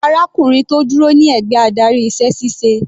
Arákùnrin tó dúró ní ẹ̀gbẹ́ adarí iṣẹ́ ṣíṣe.